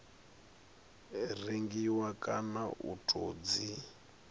rengiwa kana u tou dzi